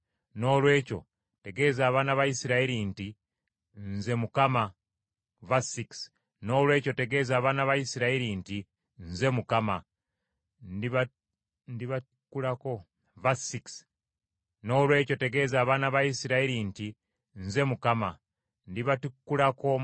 “Noolwekyo tegeeza abaana ba Isirayiri nti, ‘Nze Mukama . Ndibatikkulako emigugu gy’Abamisiri, era ndibawonya obuddu, ne mbanunula n’omukono gwange ogw’amaanyi nga nsalira Abamisiri omusango.